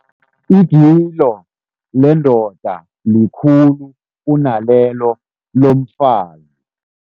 Igilo lendoda likhulu kunalelo lomfazi.